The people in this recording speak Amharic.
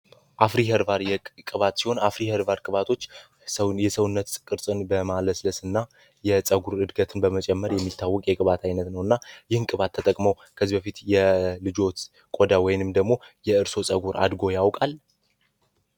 አፍሪ ኸርባል ቅባት ሲሆን፤ አፍሪ ኸርባል ቅባቶች የሰውን የሰውነት ቅርጽን በማለስለስ እና የፀጉር እድገትን በመጀመር የሚታወቀው የቅባት አይነት ነውና፤ ይህን ቅባት ተጠቅመው ከዚህ በፊት የልጅዎት ቆዳ ወይንም ደግሞ የእርስዎ ፀጉር አድርጎ ያውቃል?